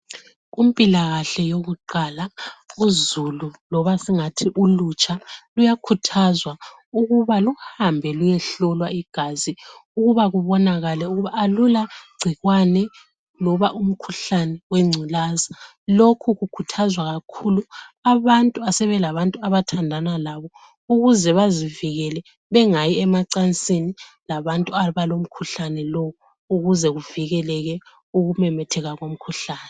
Kumpilakahle yakuqala uzulu loba singathi ulutsha luyakhuthazwa ukuba luhambe luyehlolwa igazi ukuba kubonakale ukuba alulagcikwane loba umkhuhlane wengculaza. Lokhu kukhuthazwa kakhulu abantu asebelabantu abathandana labo ukuze bazivikele bengayi emacansini labantu abalomkhuhlane lo ukuze kuvikeleke ukumemetheka komkhuhlane.